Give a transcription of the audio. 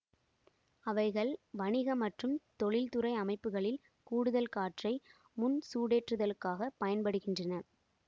அவைகள் வணிக மற்றும் தொழில்துறை அமைப்புகளில் கூடுதல் காற்றை முன் சுடேற்றுதலுக்காக பயன்படுகின்றன